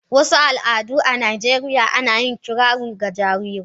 Wasu al'adu a Najeriya ana yin kirari ga jarirai.